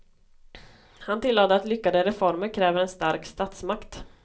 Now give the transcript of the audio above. Han tillade att lyckade reformer kräver en stark statsmakt.